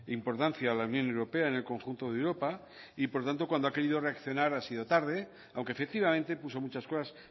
importancia a la unión europea en el conjunto de europa y por lo tanto cuando ha querido reaccionar ha sido tarde aunque efectivamente puso muchas cosas